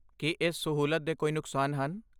ਕੀ ਇਸ ਸਹੂਲਤ ਦੇ ਕੋਈ ਨੁਕਸਾਨ ਹਨ?